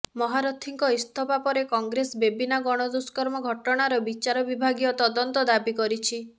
ମହାରଥୀଙ୍କ ଇସ୍ତଫା ପରେ କଂଗ୍ରେସ ବେବିନା ଗଣଦୁଷ୍କର୍ମ ଘଟଣାର ବିଚାର ବିଭାଗୀୟ ତଦନ୍ତ ଦାବି କରିଛି